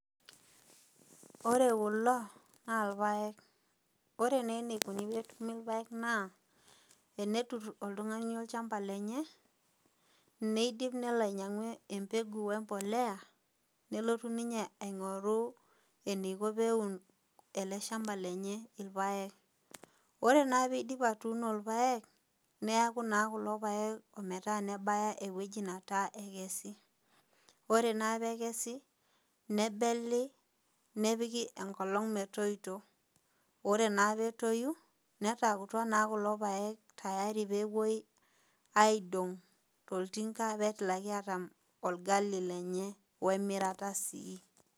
Ore kulo na irpaek ore enikuni petumi irpaek na tenetur oltungani olchamba lenye nidip nelo aingoru empeku embolea nidip nelo aingoru eniko peun eleshamba lenye irpaek ore nake peidip atuuno irpaek nebuluu ta kulo paek ometabaki ewoinataa ekesi ore na pekesi nepiki enkolong metoito ore na petoi neataakutua na kulo paektayari pepuoi aidong toltinga peaku olgali lenye wemirata sii.